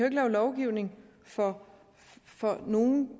lave lovgivning for nogle